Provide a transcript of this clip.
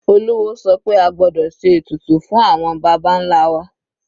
Olúwo sọ pé a gbọ́dọ̀ ṣe ètùtù fún àwọn baba nlá wa.